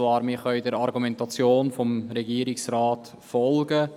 Wir können der Argumentation des Regierungsrates folgen.